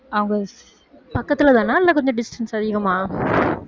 அவங்க பக்கத்திலதானா இல்ல கொஞ்சம் distance அதிகமா